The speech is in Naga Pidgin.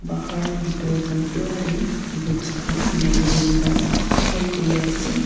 Bahar bethor khan pura dey books khan magazine khan hang kori ase.